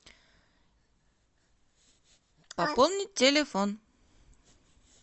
пополнить телефон